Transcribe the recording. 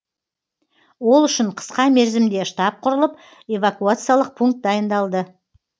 ол үшін қысқа мерзімде штаб құрылып эвакуациялық пункт дайындалады